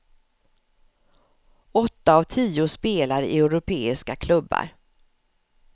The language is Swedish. Åtta av tio spelar i europeiska klubbar.